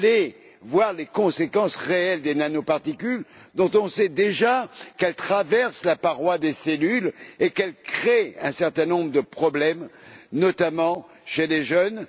étudier les conséquences réelles des nanoparticules, dont on sait déjà qu'elles traversent la paroi des cellules et qu'elles créent un certain nombre de problèmes, notamment chez les jeunes?